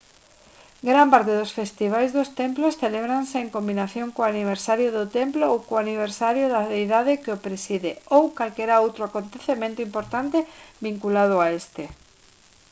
gran parte dos festivais dos templos celébranse en combinación co aniversario do templo ou co aniversario da deidade que o preside ou calquera outro acontecemento importante vinculado a este